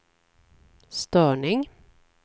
störning